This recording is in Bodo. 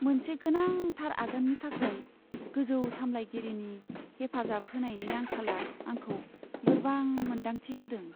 मोनसे गोनांथार आगाननि थाखाय गोजौ सामलायगिरिनि हेफाजाब होनायनि आंखालआ आंखौ लोरबां मोन्दांथि होदों।